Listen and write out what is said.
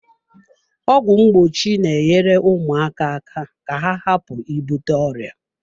Ọgwụ mgbochi na-enyere ụmụaka aka ka ha hapụ ibute ọrịa.